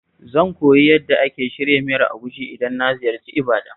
Zan koyi yadda ake shirya miyar Egusi idan na ziyarci Ibadan.